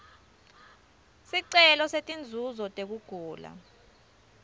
sicelo setinzuzo tekugula